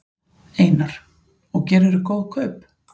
Einar: Og gerðirðu góð kaup?